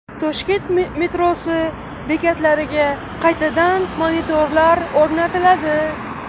Toshkent metrosi bekatlariga qaytadan monitorlar o‘rnatiladi.